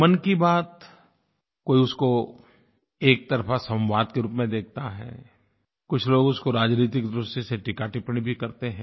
मन की बात कोई उसको एक तरफ़ा संवाद के रूप में देखता है कुछ लोग उसको राजनीतिक दृष्टि से टीकाटिप्पणी भी करते हैं